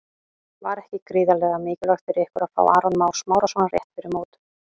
Var ekki gríðarlega mikilvægt fyrir ykkur að fá Aron Má Smárason rétt fyrir mót?